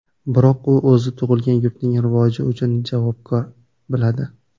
Biroq u o‘zini tug‘ilgan yurtining rivoji uchun javobgar biladi.